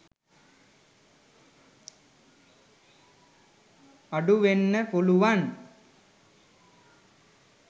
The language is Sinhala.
අඩු වෙන්න පුළුවන්